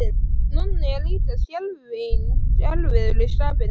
Nonni er líka skelfing erfiður í skapinu.